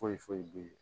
Foyi foyi foyi bɛ ye